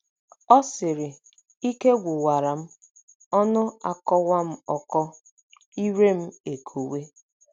Ọ sịrị: "Ike gwụwara m, ọnụ akọwa m ọkọ, ire m ekowe.